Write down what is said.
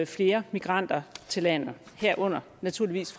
flere migranter til landet herunder naturligvis